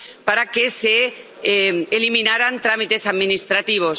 para que se eliminaran trámites administrativos.